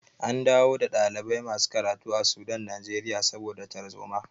An dawo da ɗalibai masu karatu a Sudan Najeriya saboda tarzoma.